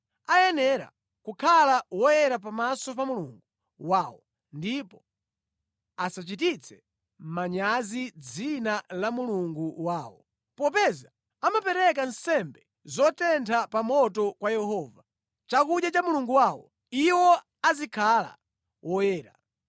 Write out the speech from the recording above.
Ayenera kukhala oyera pamaso pa Mulungu wawo ndipo asachititse manyazi dzina la Mulungu wawo. Popeza amapereka nsembe zotentha pa moto kwa Yehova, chakudya cha Mulungu wawo, iwo azikhala woyera.